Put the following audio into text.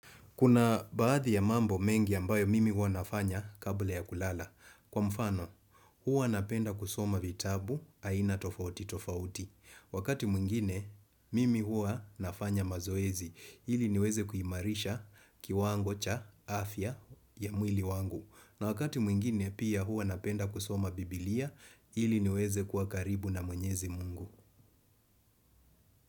Kuna baadhi ya mambo mengi ambayo mimi huwa nafanya kabla ya kulala. Kwa mfano, hua napenda kusoma vitabu, aina tofauti tofauti. Wakati mwingine, mimi huwa nafanya mazoezi. Ili niweze kuhimarisha kiwango cha afya ya mwili wangu. Na wakati mwingine, pia huwa napenda kusoma biblia. Ili niweze kuwa karibu na mwenyezi mungu.